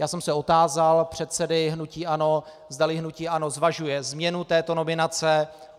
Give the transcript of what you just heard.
Já jsem se otázal předsedy hnutí ANO, zdali hnutí ANO zvažuje změnu této nominace.